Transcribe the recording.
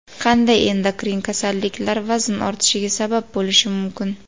Qanday endokrin kasalliklar vazn ortishiga sabab bo‘lishi mumkin?